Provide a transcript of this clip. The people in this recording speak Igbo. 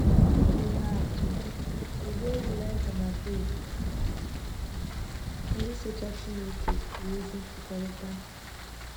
Dị ka ihe atụ, tụlee Elijiah na Job — ndị socha Chineke nwee ezi mmekọrịta.